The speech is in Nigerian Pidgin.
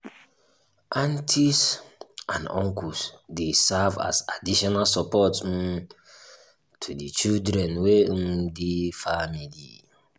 aunties and uncles dey serve as additional support um to di children wey um dey family